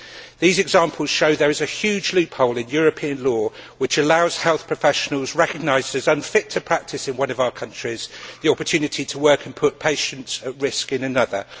These examples show that there is a huge loophole in European law which allows health professionals recognised as unfit to practise in one of our countries the opportunity to work and to put patients at risk in another.